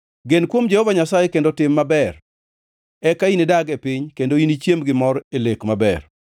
Gen kuom Jehova Nyasaye kendo tim maber. Eka inidag e piny kendo inichiem gi mor e lek maber.